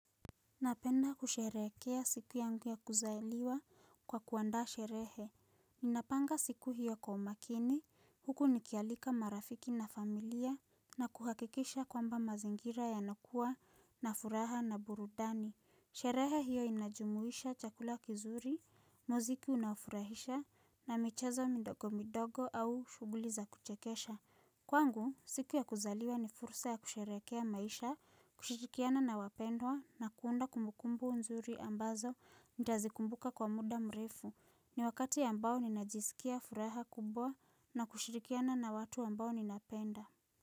Napenda kusherehekea siku yangu ya kuzaliwa kwa kuandaa sherehe. Ninapanga siku hiyo kwa umakini, huku nikialika marafiki na familia na kuhakikisha kwamba mazingira yanakuwa na furaha na burudani. Sherehe hiyo inajumuisha chakula kizuri, muziki unaofurahisha na michezo midogo midogo au shughuli za kuchekesha. Kwangu, siku ya kuzaliwa ni fursa ya kusherehekea maisha, kushirikiana na wapendwa na kuunda kumbukumbu nzuri ambazo nitazikumbuka kwa muda mrefu. Ni wakati ambao ninajisikia furaha kubwa na kushirikiana na watu ambao ninapenda.